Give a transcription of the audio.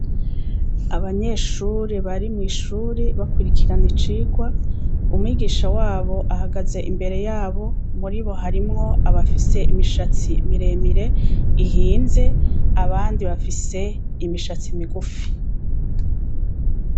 Abanyeshure bari mwi shure bakurikirana icigwa umwigisha wabo ahagaze imbere yabo muribo harimwo abafise imishatsi mire mire ihinze abandi bafise imishatsi migufi.